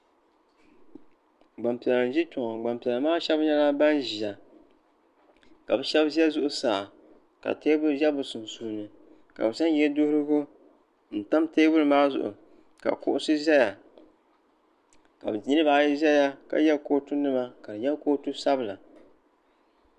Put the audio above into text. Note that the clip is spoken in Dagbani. Gbampiɛla n ʒi kpeŋɔ gbampiɛla maa sheba nyɛla ban ʒia ka bɛ sheba za zuɣusaa ka teebuli za bɛ sunsuuni ka bɛ zaŋ yeduhurigu n tam teebuli maa zuɣu ka kuɣusi zaya ka niriba ayi zaya ka ye kootu nima ka di nyɛ kootu sabila.